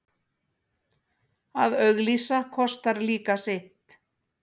Að auglýsa kostar líka sitt.